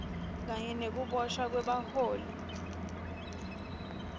kanye nekuboshwa kwebaholi